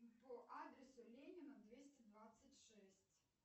по адресу ленина двести двадцать шесть